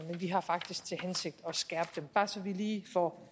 har faktisk til hensigt at skærpe dem bare så vi lige får